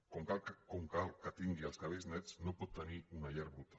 com que cal que tingui els cabells nets no pot tenir una llar bruta